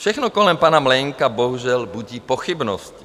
Všechno kolem pana Mlejnka bohužel budí pochybnosti.